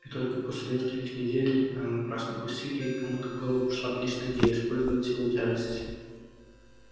и только после нескольких недель напрасных усилий кому-то в голову пришла отличная идея использовать силу тяжести